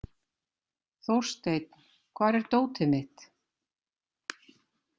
Þórsteinn, hvar er dótið mitt?